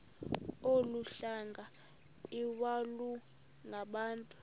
olu hlanga iwalungabantu